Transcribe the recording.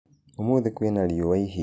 Ũmũthĩ kwĩna rĩũa ĩhĩũ.